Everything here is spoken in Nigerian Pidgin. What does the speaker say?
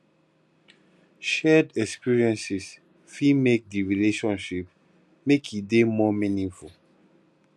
shared experiences fit make di relationship make e dey more meaningful